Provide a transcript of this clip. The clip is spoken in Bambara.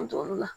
An t'olu la